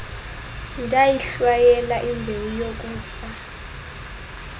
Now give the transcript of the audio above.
ndayihlwayela imbewu yokufa